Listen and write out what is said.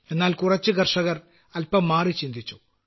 എന്നാൽ കുറച്ചു കർഷകർ അല്പം മാറിചിന്തിച്ചു